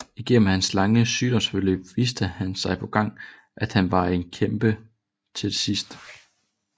Igennem hans lange sygdomsforløb viste han gang på gang at han var en kæmper til det sidste